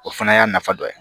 O fana y'a nafa dɔ ye